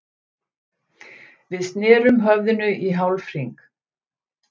Við snerum höfðinu í hálfhring.